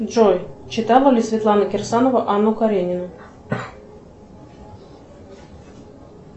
джой читала ли светлана кирсанова анну каренину